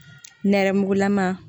Nɛrɛmugulama